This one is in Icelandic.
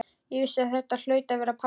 Ég vissi að þetta hlaut að vera pabbi.